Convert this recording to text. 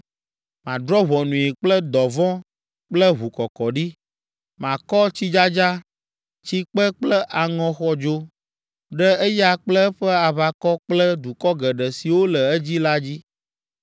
Madrɔ̃ ʋɔnui kple dɔvɔ̃ kple ʋukɔkɔɖi. Makɔ tsidzadza, tsikpe kple aŋɔ xɔdzo ɖe eya kple eƒe aʋakɔ kple dukɔ geɖe siwo le edzi la dzi.